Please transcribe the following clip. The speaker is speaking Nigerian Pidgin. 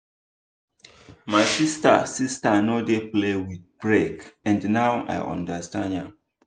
my sister sister no dey play with break and now i understand am.